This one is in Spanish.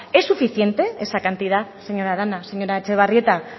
es suficiente esa cantidad señora arana señora etxebarrieta